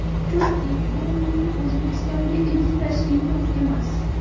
Chunki, bu mening O‘zbekistonga ilk tashrifim emas.